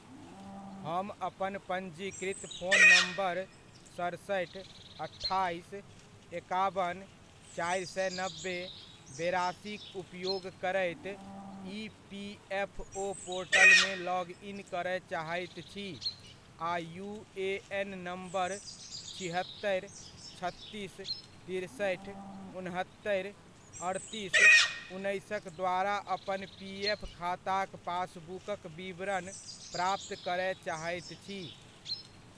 हम अपन पञ्जीकृत फोन नम्बर सतसठि, अठाइस, एकाबन, चारि सए नब्बे, बेरासीक उपयोग करैत ईपीएफओ पोर्टलमे लॉग इन करय चाहैत छी आ यूएएन नम्बर छिहत्तरि, छत्तीस, तिरसठि, उन्हत्तरि, अड़तीस, उन्नैसक द्वारा अपन पीएफ खाताक पासबुकक विवरण प्राप्त करय चाहैत छी।